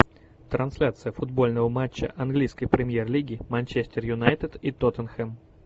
трансляция футбольного матча английской премьер лиги манчестер юнайтед и тоттенхэм